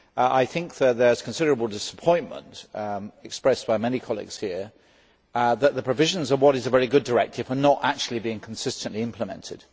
I think though that there has been considerable disappointment expressed by many colleagues here that the provisions of what is a very good directive are not actually being consistently implemented.